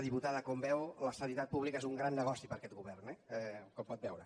diputada com veu la sanitat pública és un gran negoci per a aquest govern eh com pot veure